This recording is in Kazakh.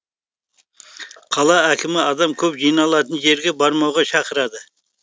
қала әкімі адам көп жиналатын жерге бармауға шақырады